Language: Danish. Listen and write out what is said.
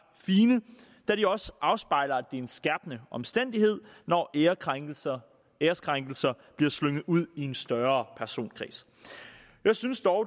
fine da de også afspejler er en skærpende omstændighed når ærekrænkelser bliver slynget ud i en større personkreds jeg synes dog